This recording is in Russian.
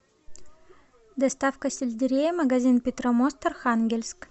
доставка сельдерея магазин петромост архангельск